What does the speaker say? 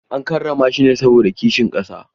An karrama shi ne saboda kishin ƙasa.